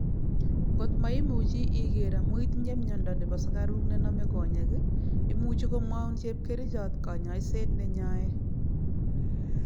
Ngot meimuchi iger amu itinye miondo nebo sukaik nename konyek, imuchii komwaun chepkerichiot kanyaiseet nenyae